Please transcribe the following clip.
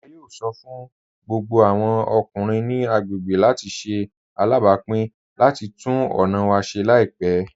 A yóò sọ́ fún gbogbo awọn ọkùnrin ni agbegbé láti ṣè alábápìn láti túnn ọna wa ṣè laipẹ.